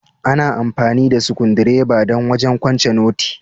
Ana amfani da sukudireba don wajen kwance noti.